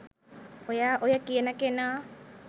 ඔයා ඔය කියන කෙනා